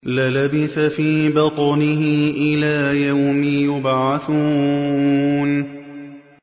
لَلَبِثَ فِي بَطْنِهِ إِلَىٰ يَوْمِ يُبْعَثُونَ